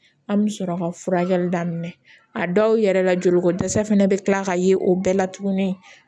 An bɛ sɔrɔ ka furakɛli daminɛ a dɔw yɛrɛ la joliko dɛsɛ fana bɛ kila ka ye o bɛɛ la tuguni